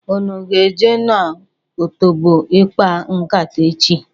Ụnụ a ga-eje n'otobo ịkpa nkata echi?